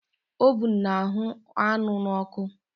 Ovun na-ahụ́ anụ n'ọkụ